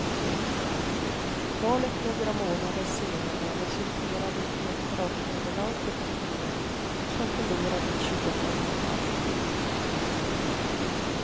Valet några månader senare resulterade i ett braknederlag för partiet, som förlorade ett tjugotal mandat.